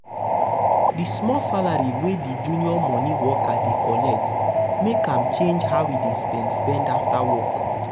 the small salary wey the junior money worker dey collect um make am change how e dey spend spend after work.